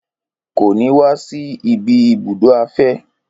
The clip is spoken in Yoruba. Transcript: Kò ní wa si ibi ibùdó afẹ́